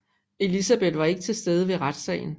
Elizabeth var ikke til stede ved retssagen